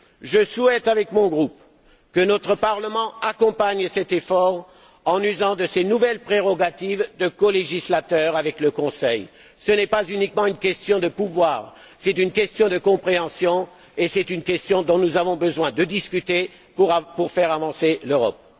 Je souhaite, avec mon groupe, que notre Parlement accompagne cet effort en usant de ses nouvelles prérogatives de colégislateur avec le Conseil. Ce n'est pas uniquement une question de pouvoir, c'est une question de compréhension et c'est une question dont nous devons discuter pour faire avancer l'Europe.